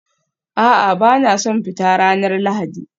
A'a, ba na son fita ranar Lahadi